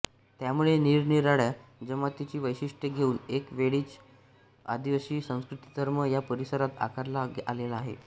त्यामुळे निरनिराळ्या जमातीची वैशिष्ट्ये घेऊन एक वेगळीच आदिवासी संस्कृतीधर्म या परिसरात आकारला आलेला आहे